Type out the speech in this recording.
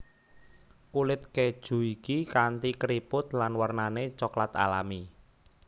Kulit keju iki kanti keriput lan warnané coklat alami